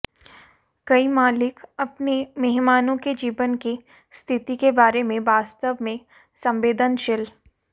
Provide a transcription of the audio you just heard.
कई मालिक अपने मेहमानों के जीवन की स्थिति के बारे में वास्तव में संवेदनशील